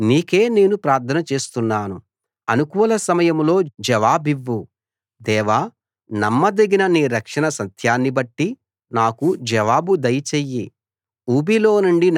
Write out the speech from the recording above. యెహోవా నీకే నేను ప్రార్థన చేస్తున్నాను అనుకూల సమయంలో జవాబివ్వు దేవా నమ్మదగిన నీ రక్షణ సత్యాన్ని బట్టి నాకు జవాబు దయచెయ్యి